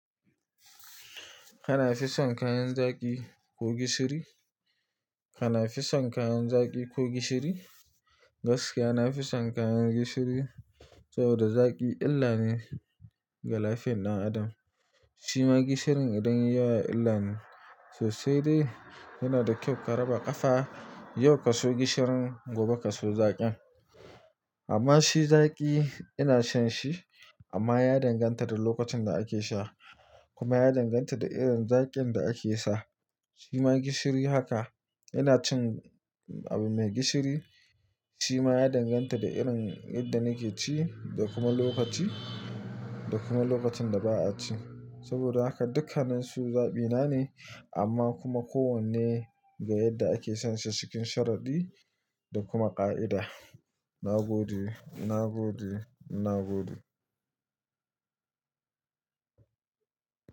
Kana fison kayan zaƙi ko gishiri? Kana fison kayan zaƙi ko gishiri? Gaskiya na fison kayan gishiri saboda zaƙi illane ga lafiyan ɗan adam. Shima gishirin idan yayi yawa illane so sai dai yana da kyau ka raba ƙafa, yau ka so gishirin gobe ka so zaƙin. Amma shi zaƙi ina son shi amma ya danganta da lokacin da ake sha kuma ya danganta da irin zaƙin da ake sa. Shima gishiri haka, ina cin abu mai gishiri shima ya danganta da irin yadda nake ci da kuma lokaci da kuma lokacin da ba'a ci. Saboda haka dukkanninsu zaɓina ne amma kuma kowanne ga yadda ake son shi cikin sharadi da kuma ƙa'ida. Na gode, na gode, na gode.